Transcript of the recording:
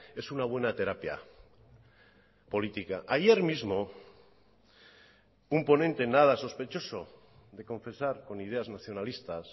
es una buena terapia política ayer mismo un ponente nada sospechoso de confesar con ideas nacionalistas